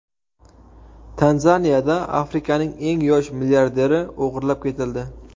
Tanzaniyada Afrikaning eng yosh milliarderi o‘g‘irlab ketildi.